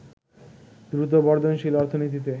দ্রুত বর্ধনশীল অর্থনীতিতে